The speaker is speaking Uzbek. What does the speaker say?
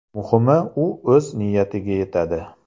Muhimi, u o‘z niyatiga yetadi.